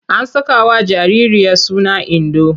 An sakawa jaririya suna Indo.